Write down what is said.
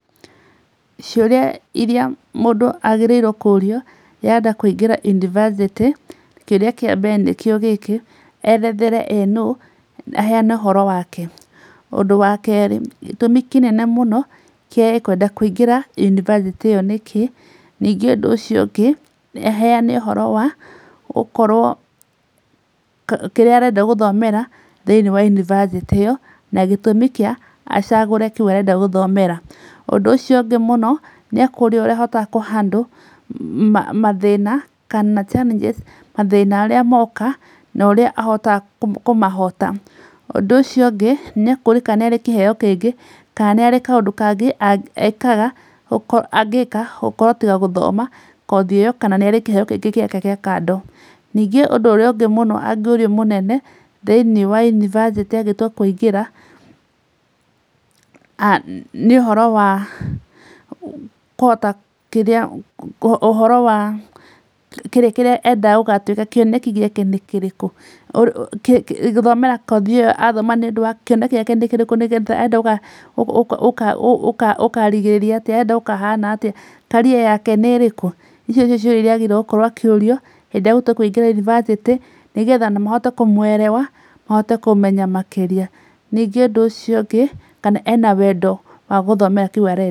Ciũria iria mũndũ agĩrĩirwo kũũrio rĩrĩa arenda kũingĩra yunibacĩtĩ, kĩũria kĩa mbere nĩkĩo gĩkĩ; erethere we nũũ, aheane ũhoro wake. Ũndu wa kerĩ, gĩtũmi kĩnene mũno kĩa kwenda kũingĩra yunibacĩtĩ ĩyo nĩ kĩĩ. Nĩngĩ ũndũ ũcio ũngĩ, aheane ũhoro wa okorwo kĩrĩa arenda gũthomera thĩiniĩ wa yunibacĩtĩ iyo na gĩtũmi kĩa acagũre kĩu arenda gũthomera. Ũndũ ũcio ũngĩ mũno nĩ akũũrio ũrĩa ahotaga kũ handle mathĩna kana challenges, mathĩna arĩa moka na ũrĩa ahotaga kũmahoota. Ũndũ ũcio ũngĩ, nĩ akũũrio kana nĩ arĩ kĩheeo kĩngĩ, kana nĩ arĩ kaũndu kangĩ eekaga, angĩĩka, gũkorwo tiga gũthoma kothi ĩyo kana nĩ ari kĩheo kĩngĩ gĩake gĩa kando. Ningĩ ũndũ ũrĩa ũngĩ mũno angĩũrio mũnene thĩiniĩ wa yunibacĩtĩ agĩtua kũingĩra ah nĩ ũhoro wa kũhota kĩrĩa, ũhoro wa kĩrĩa endaga gũgatuĩka, kĩoneki gĩake nĩ kĩrĩkũ. Gũthomera kothi ĩyo arathoma nĩũndũ wa, kĩoneki gĩake nĩ kĩrĩkũ nĩgetha, arenda gũkarigĩrĩria atĩa, arenda gũkahana atĩa , career yake nĩ ĩrĩkũ. Icio nĩcio ciũria iria aagĩrĩirwo gũkorwo akĩũrio, hĩndĩ ĩrĩa ahota kũingĩra yunibacĩtĩ, nĩgetha mahote kũmũerewa, mahote kũmũmenya makĩria. Ningĩ ũndũ ũcio ũngĩ, kana ena wendo wa gũthomera kĩu arenda.